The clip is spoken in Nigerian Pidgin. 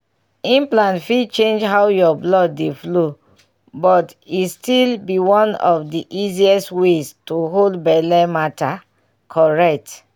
implant fit change how your blood dey flow but e still be one of the easiest ways to hold belle matter correct.